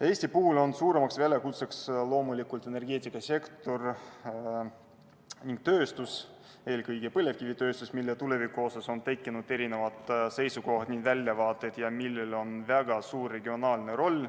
Eestis esitavad suurima väljakutse loomulikult energeetikasektor ning tööstus, eelkõige põlevkivitööstus, mille tuleviku osas on erinevad seisukohad ning väljavaated ja millel on väga suur regionaalne roll.